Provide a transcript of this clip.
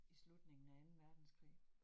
I slutningen af anden verdenskrig